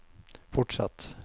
fortsatt